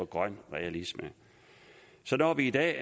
grøn realisme så når vi i dag